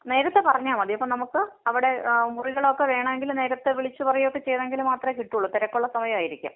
നേരത്തെ പറഞ്ഞാൽ മതി. അപ്പോ അവിടെ മുറികളൊക്കെ വേണേങ്കിൽ നേരത്തെ വിളിച്ച് പറയൊക്കെ ചെയ്തെങ്കില്‍ മാത്രേ കിട്ടുള്ളൂ. തിരക്കുള്ള സമയം ആയിരിക്കും.